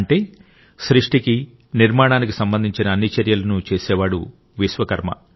అంటే సృష్టికి నిర్మాణానికి సంబంధించిన అన్ని చర్యలను చేసేవాడు విశ్వకర్మ